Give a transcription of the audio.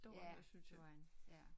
Ja det gjorde han ja